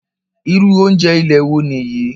Irú oúnjẹ ilé wo nìyí?